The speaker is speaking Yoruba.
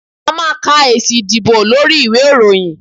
a ma ka esí ìdíbò lorí ìwé iroyín